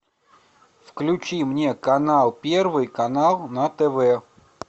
включи мне канал первый канал на тв